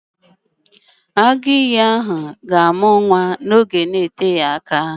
Agụ ìyì ahụ ga-amụ nwa n'oge na-eteghị anya